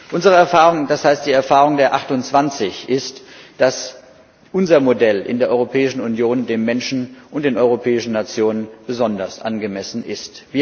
Unsere Erfahrung das heißt die Erfahrung der 28 ist, dass unser Modell in der Europäischen Union den Menschen und den europäischen Nationen besonders angemessen ist.